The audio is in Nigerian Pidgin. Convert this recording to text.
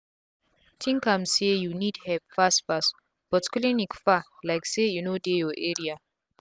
think am say u need epp fast fast but clinic far lyk say e no dey ur area